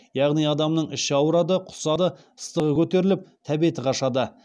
яғни адамның іші ауырады құсады ыстығы көтеріліп тәбеті қашады